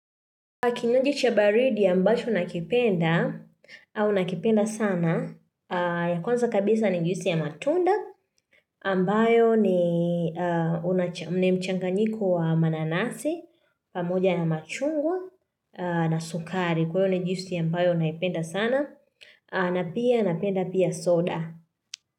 Kinywaji cha baridi ambacho nakipenda, au nakipenda sana, ya kwanza kabisa ni juisi ya matunda, ambayo ni mchanganyiko wa mananasi, pamoja na machungwa na sukari. Kwa hio ni juisi ya ambayo naipenda sana, na pia napenda pia soda.